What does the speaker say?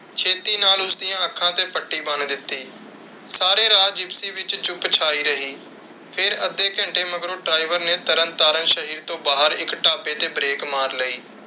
ਛੇਤੀ ਨਾਲ ਉਸ ਦੀਆਂ ਅੱਖਾਂ ਤੇ ਪੱਟੀ ਬੰਨ ਦਿੱਤੀ। ਸਾਰੇ ਰਾਹ ਜਿਪਸੀ ਵਿਚ ਚੁੱਪ ਛਾਈ ਰਹੀ. ਫਿਰ ਅੱਧੇ ਘੰਟੇ ਮਗਰੋਂ ਡ੍ਰਾਈਵਰ ਨੇ ਤਰਨ ਤਾਰਨ ਸ਼ਹਿਰ ਤੋਂ ਬਾਹਰ ਇੱਕ ਢਾਬੇ ਤੇ ਬ੍ਰੇਕ ਮਾਰ ਲਈ।